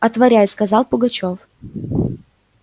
отворяй сказал пугачёв